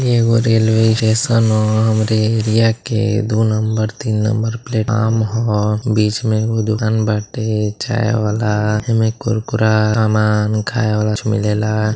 इ एगो railway station ह हमरे एरिया के दु नंबर तीन नंबर प्लेटफॉर्म ह बीचे में एगो दुकान बाटे चाय वाला ऐमें कुरकुरा सामान खाये वाला कुछ मिलेला।